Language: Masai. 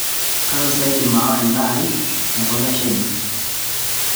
Kanu sa aidim aawa endaa aai tenkop e Shahina